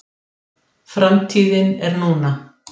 Framtíðin er núna.